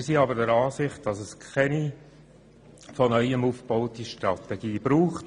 Wir sind aber der Ansicht, dass es keine von neuem aufzubauende Strategie braucht.